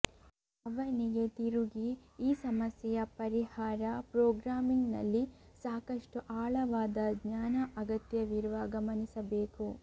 ಅವನಿಗೆ ತಿರುಗಿ ಈ ಸಮಸ್ಯೆಯ ಪರಿಹಾರ ಪ್ರೊಗ್ರಾಮಿಂಗ್ ನಲ್ಲಿ ಸಾಕಷ್ಟು ಆಳವಾದ ಜ್ಞಾನ ಅಗತ್ಯವಿರುವ ಗಮನಿಸಬೇಕು